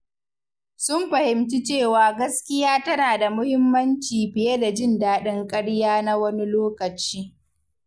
Sun fahimci cewa gaskiya tana da muhimmanci fiye da jin daɗin karya na wani lokaci.